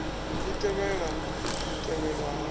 i tevhela u tevhelwa ha